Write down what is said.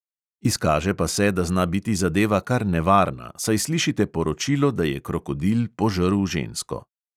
Izkaže pa se, da zna biti zadeva kar nevarna, saj slišite poročilo, da je krokodil požrl žensko.